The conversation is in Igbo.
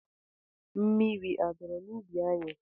Mmiri a dọrọ n'ubi anyị?